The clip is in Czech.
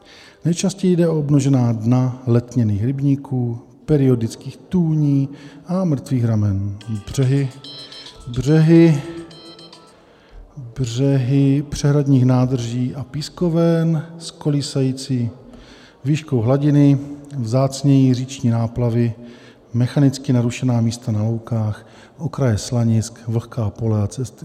Nejčastěji jde o obnažená dna letněných rybníků, periodických tůní a mrtvých ramen, břehy , břehy přehradních nádrží a pískoven s kolísající výškou hladiny, vzácněji říční náplavy, mechanicky narušená místa na loukách, okraje slanisk, vlhká pole a cesty.